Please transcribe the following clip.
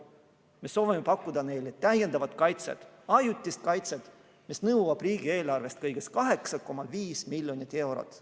Me soovime pakkuda neile täiendavat kaitset, ajutist kaitset, mis nõuab riigieelarvest kõigest 8,5 miljonit eurot.